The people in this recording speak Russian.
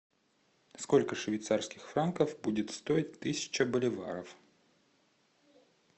сколько швейцарских франков будет стоить тысяча боливаров